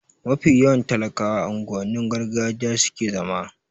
Mafi yawan talakawa a unguwannin gargajiya suke zama